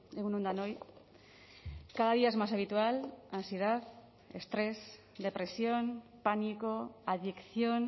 egun on denoi cada día es más habitual ansiedad estrés depresión pánico adicción